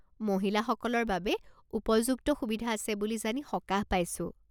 মহিলাসকলৰ বাবে উপযুক্ত সুবিধা আছে বুলি জানি সকাহ পাইছো।